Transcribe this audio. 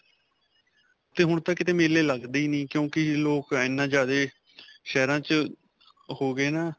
'ਤੇ ਹੁਣ ਤਾ ਕਿਤੇ ਮੇਲੇ ਲਗਦੇ ਹੀ ਨਹੀਂ ਕਿਓਕਿ ਲੋਕ ਏਨਾ ਜਿਆਦੇ ਸ਼ਹਿਰਾ 'ਚ ਹੋ ਗਏ ਨਾ.